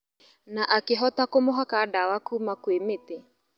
Na akĩhota kũmũhaka dawa kuma kwĩ mĩtĩ